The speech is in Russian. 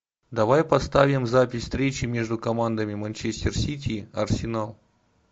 давай поставим запись встречи между командами манчестер сити арсенал